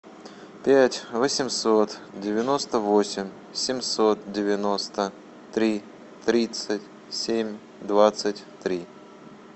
пять восемьсот девяносто восемь семьсот девяносто три тридцать семь двадцать три